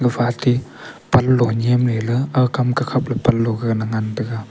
gafa ate panloh nyem ley ley aga kam ka khap le ngan taiga.